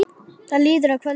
Það líður að kvöldi.